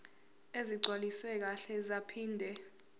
ezigcwaliswe kahle zaphinde